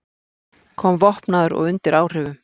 Kom vopnaður og undir áhrifum